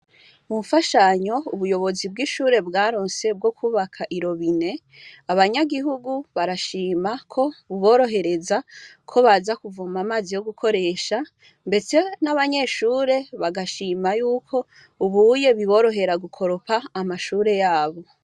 Mumfashanyo ubuyobozi bw' ishure bwaronse bwo kwubaka irobine abanyagihugu barashima ko bibirohereza ko baza kuvoma amazi yo gukoresha ndetse n' abanyeshure bagashima yuko ubuye biborohera gukoropa amashure yabo.